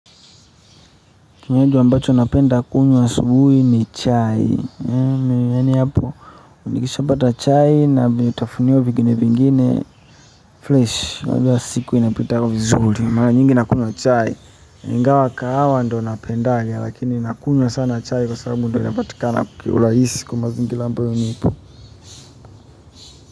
Kinywaji ambacho napenda kunywa asubuhi ni chai yaani hapo nikisha pata chai na vitafunio vingine vingine fresh na hivyo siku inapitaga vizuri maraa nyingi nakunywa chai ingawa kahawa ndo napendaga lakini nakunywa sana chai kwa sababu ndo inapatikana kiurahisi kwa mazingira ambayo nipo.